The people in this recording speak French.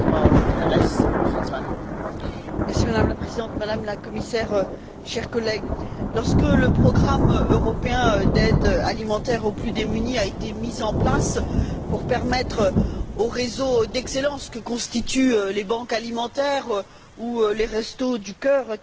Madame la Présidente, Madame la Commissaire, chers collègues, lorsque le programme européen d'aide alimentaire aux plus démunis a été mis en place pour permettre le fonctionnement des réseaux d'excellence que constituent les banques alimentaires ou les restos du cœur qu'avait intelligemment, malheureusement, créés